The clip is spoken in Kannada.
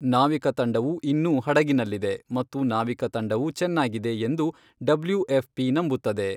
ನಾವಿಕ ತಂಡವು ಇನ್ನೂ ಹಡಗಿನಲ್ಲಿದೆ ಮತ್ತು ನಾವಿಕ ತಂಡವು ,ಚೆನ್ನಾಗಿದೆ, ಎಂದು ಡಬ್ಲ್ಯೂ ಎಫ್ ಪಿ ನಂಬುತ್ತದೆ.